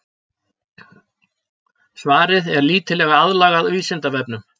Svarið er lítillega aðlagað Vísindavefnum.